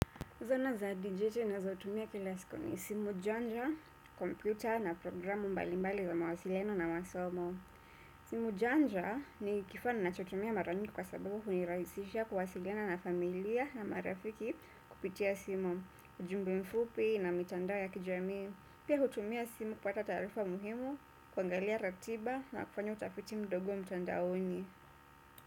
Zana za dijitali na zautumia kila siku ni simu janja, komputa na programu mbalimbali za mawasiliano na masomo. Simu janja ni kifaa nachotumia mara mingi kwa sababu hunirahisisha kuwasiliana na familia na marafiki kupitia simu. Ujumbe mfupi na mitandao ya kijami. Pia hutumia simu kwa ta taarifa muhimu, kuangalia ratiba na kufanya utafiti mdogo mtandaoni.